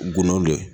Gundo ye